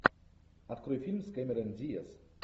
открой фильм с кэмерон диаз